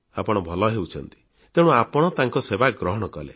ଆପଣ ଭଲ ହେଉଛନ୍ତି ତେଣୁ ଆପଣ ତାଙ୍କ ସେବା ଗ୍ରହଣ କଲେ